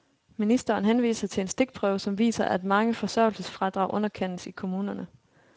Ministeren henviser til en stikprøve, som viser, at mange forsørgelsesfradrag underkendes i kommunerne.